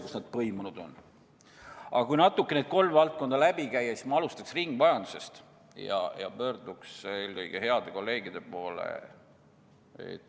Kui need kolm valdkonda kergelt läbi käia, siis ma alustan ringmajandusest ja pöördun eelkõige heade kolleegide poole.